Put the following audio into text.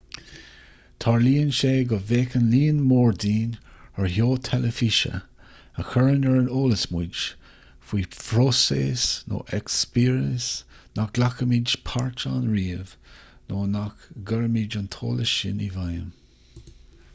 tarlaíonn sé go bhféachann líon mór dínn ar sheó teilifíse a chuireann ar an eolas muid faoi phróiseas nó eispéireas nach nglacfaimid páirt ann riamh nó nach gcuirfimid an t-eolas sin i bhfeidhm